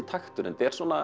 takturinn